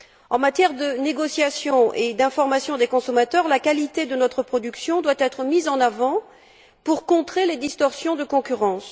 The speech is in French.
En matière de négociation et d'information des consommateurs, la qualité de notre production doit être mise en avant pour contrer les distorsions de la concurrence.